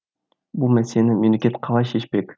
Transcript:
бұл мәселені мемлекет қалай шешпек